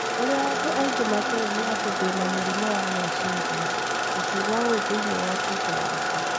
ũrĩa andũ aingĩ matooĩ nĩ atĩ ndĩ na mũrimũ wa meciria, akiuga ũũ thĩini wa Twitter yake.